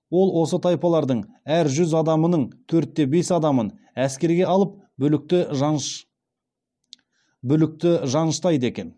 ол осы тайпалардың әр жүз адамының төрт те бес адамын әскерге алып бүлікті жаныштайды екен